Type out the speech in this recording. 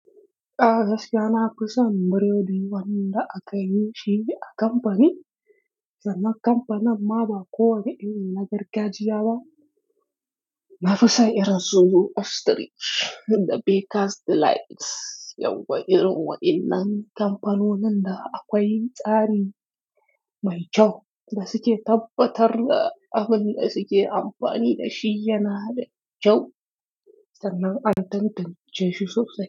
A gaskiya na fi son biredi wanda aka yi shi a kamfani, sannan kamfanin ma ba kowane iri na gargajiya ba. Na fi son irin su ostrich da Bakers Delight, yauwa irin wa in nan kamfanonin da akwai tsari mai kyau da suke tabbatar da abin da suke amfani da shi yana da kyau, sannan an tantance shi sosai.